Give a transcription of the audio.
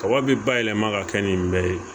Kaba be ba yɛlɛma ka kɛ nin bɛɛ ye